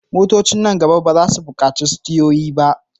Motocin nan gaba ba za su buƙaci sitiyoyi ba.